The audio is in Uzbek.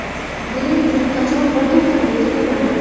Buning uchun qachon bir to‘xtamga kelinadi?